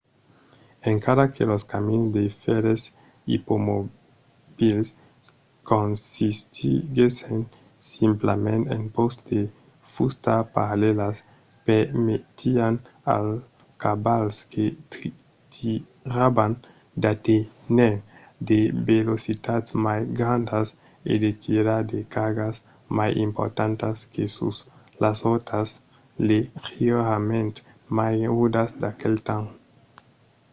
encara que los camins de fèrres ipomobils consistiguèssen simplament en pòsts de fusta parallèlas permetián als cavals que tiravan d'aténher de velocitats mai grandas e de tirar de cargas mai importantas que sus las rotas leugièrament mai rudas d'aquel temps